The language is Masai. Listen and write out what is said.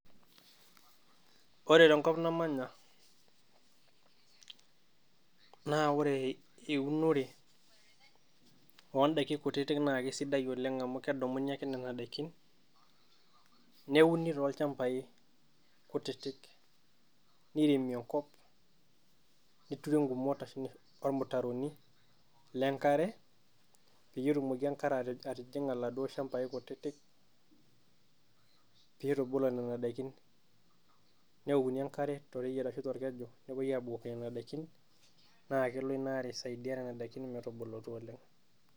woore tenkop namanya naa woore eunore ondaikin kutiiitk nakesidai amu kedumuni ake kedumuni nena daikin newuni tolchambai kutitik newuni tolchambai kutitik niremi enkop neturi ngumot olmutaroni wenkare petumoki enkare atiinga laduoo shambai kutitik pitubulu nena daikin newookuni enkare tooreyieta arashu tolkeju nakelo enkare aisaidiaa nena daikin metubuulutu oleng